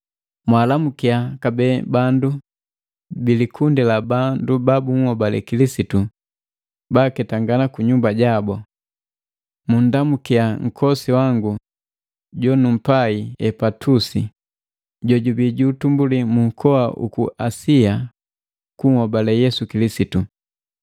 Mwaalamukia kabee bandu bi likundi la bandu ba bunhobale Kilisitu baaketangana ku nyumba jabu. Munndamukia nkosi wangu jonumpai Epatusi jojubii ju utumbuli mu nkoa uku Asia kunhobale Yesu Kilisitu.